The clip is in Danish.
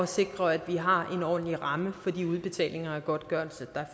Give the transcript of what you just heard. sikre at vi har en ordentlig ramme for de udbetalinger af godtgørelse